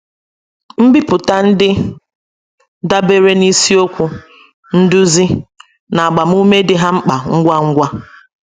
Mbipụta ndị dabeere na ịsiokwu, nduzi, na agbamume dị ha mkpa ngwa ngwa.